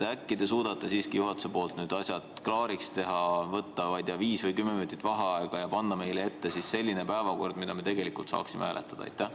Äkki te suudate siiski juhatuses asjad klaariks teha, võtta, ma ei tea, viis või kümme minutit vaheaega ja panna meile ette selline päevakord, mida me tegelikult saaksime hääletada?